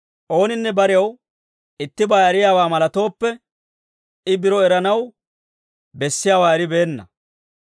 Ooninne barew ittibaa eriyaawaa malatooppe, I biro eranaw bessiyaawaa eribeenna.